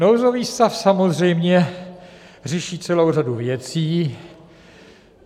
Nouzový stav samozřejmě řeší celou řadu věcí.